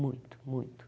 Muito, muito.